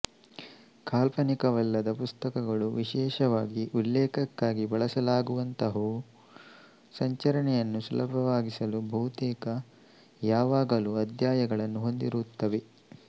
ಕಾಲ್ಪನಿಕವಲ್ಲದ ಪುಸ್ತಕಗಳು ವಿಶೇಷವಾಗಿ ಉಲ್ಲೇಖಕ್ಕಾಗಿ ಬಳಸಲಾಗುವಂತಹವು ಸಂಚರಣೆಯನ್ನು ಸುಲಭವಾಗಿಸಲು ಬಹುತೇಕ ಯಾವಾಗಲೂ ಅಧ್ಯಾಯಗಳನ್ನು ಹೊಂದಿರುತ್ತವೆ